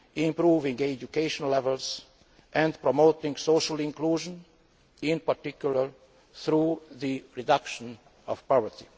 improving education levels and promoting social inclusion, in particular through the reduction of poverty.